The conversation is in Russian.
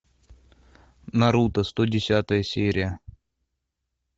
наруто сто десятая серия